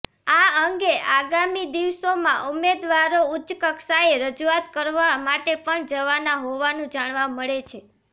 આ અંગે આગામી દિવસોમાં ઉમેદવારો ઉચ્ચકક્ષાએ રજૂઆત કરવા માટે પણ જવાના હોવાનું જાણવા મળે છે